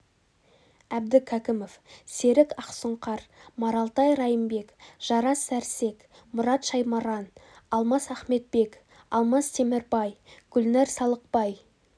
әбдікәкімов серік ақсұңқар маралтай райымбек жарас сәрсек мұрат шаймаран алмас ахметбек алмас темірбай гүлнәр салықбай